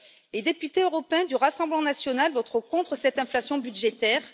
Les députés européens du Rassemblement national voteront contre cette inflation budgétaire.